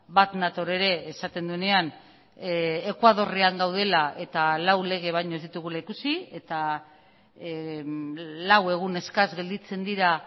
bat nator ere esaten duenean ekuadorrean gaudela eta lau lege baino ez ditugula ikusi eta lau egun eskas gelditzen dira